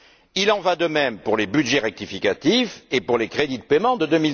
Il en va de même pour les budgets rectificatifs et pour les crédits de paiement pour